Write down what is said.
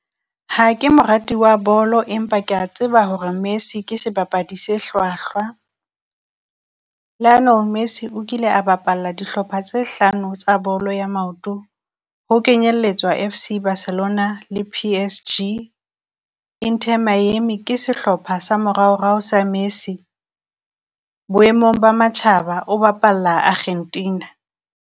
Ha ke morati wa bolo, empa kea tseba hore Messi ke sebapadi se hlwahlwa. Lionel Messi o kile a bapalla dihlopha tse hlano tsa bolo ya maoto, ho kenyelletswa F_C Barcelona le P_S_G. Inter Miami ke sehlopha sa moraorao sa Messi, boemong ba matjhaba o bapalla Akgentina.